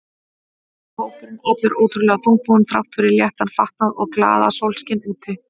Og hópurinn allur ótrúlega þungbúinn þrátt fyrir léttan fatnað og glaðasólskin úti.